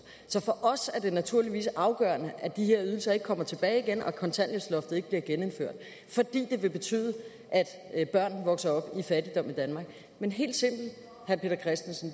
så for os er det naturligvis afgørende at de her ydelser ikke kommer tilbage igen og at kontanthjælpsloftet ikke bliver genindført for det vil betyde at børn vokser op i fattigdom i danmark men helt simpelt